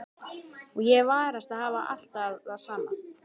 Og ég varast að hafa alltaf það sama.